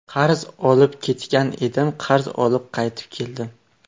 Qarz olib ketgan edim, qarz olib qaytib keldim.